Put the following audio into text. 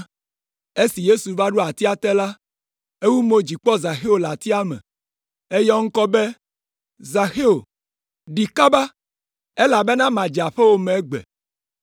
Esi Yesu va ɖo atia te la, ewu mo dzi kpɔ Zaxeo le atia me. Eyɔ eŋkɔ be, “Zaxeo, ɖi kaba! Elabena madze aƒewò me egbe.”